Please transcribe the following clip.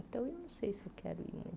Então, eu não sei se eu quero ir não